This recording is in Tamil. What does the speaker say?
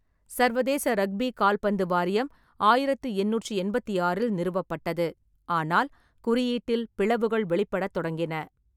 சர்வதேச ரக்பி கால்பந்து வாரியம் ஆயிரத்து எண்ணூற்றி எண்பத்தி ஆறு நிறுவப்பட்டது, ஆனால் குறியீட்டில் பிளவுகள் வெளிப்படத் தொடங்கின.